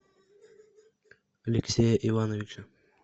алексея ивановича